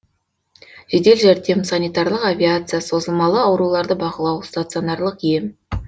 жедел жәрдем санитарлық авиация созылмалы ауруларды бақылау стационарлық ем